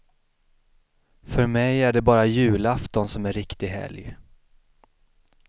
För mig är det bara julafton som är riktig helg.